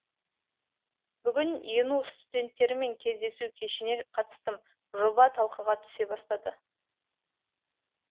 бүгін ену студенттерімен кездесу кешіне қатыстым жоба талқыға түсе бастады